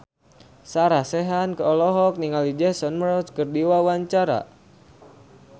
Sarah Sechan olohok ningali Jason Mraz keur diwawancara